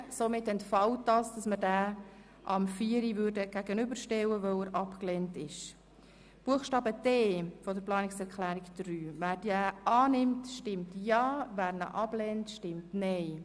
Somit entfällt die Gegenüberstellung mit der Planungserklärung 4. Wer den Buchstaben d der Planungserklärung 3 annimmt, stimmt Ja, wer diesen ablehnt, stimmt Nein.